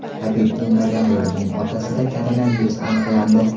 Habib Nurmagomedovning otasida koronavirus aniqlandi.